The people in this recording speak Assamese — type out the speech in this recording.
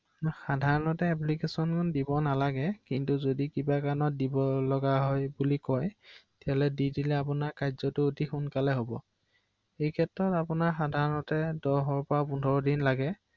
হয়